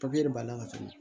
de b'a lafiya